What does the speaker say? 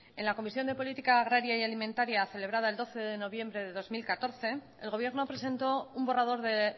en la comisión de política agraria y alimentaria celebrada el doce de noviembre de dos mil catorce el gobierno presentó un borrador de